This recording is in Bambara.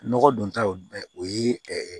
Nɔgɔ don taw o ye